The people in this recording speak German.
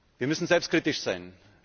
Wir müssen selbstkritisch sein.